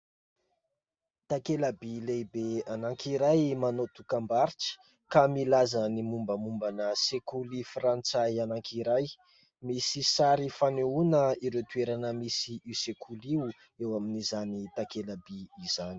Takela-by lehibe anankiray manao dokam-barotra, ka milaza ny mombamombana sekoly frantsay anankiray, misy sary fanehoana ireo toerana misy io sekoly io eo amin'izany takela-by izany.